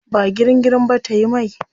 Ba girin girin ba tayi mai.